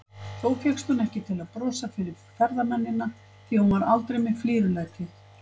Þó fékkst hún ekki til að brosa fyrir ferðamennina, því hún var aldrei með flírulæti.